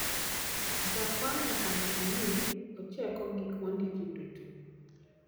jakwayo nyaka nen ni ocheko gik mondiki duto